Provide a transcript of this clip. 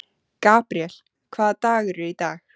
Gabríel, hvaða dagur er í dag?